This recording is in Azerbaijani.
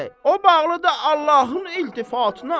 O bağlıdır Allahın iltifatına.